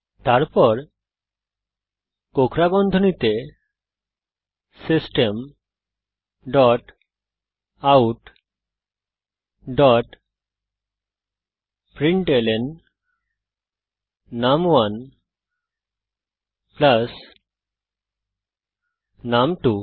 তারপর কোঁকড়া বন্ধনীতে system dot out dot println নুম1 প্লাস নুম2